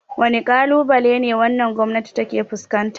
Wane kalubale wannan gwamnati ta ke fuskanta?